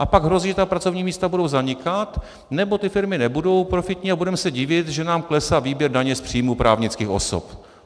A pak hrozí, že ta pracovní místa budou zanikat, nebo ty firmy nebudou profitní a budeme se divit, že nám klesá výběr daně z příjmu právnických osob.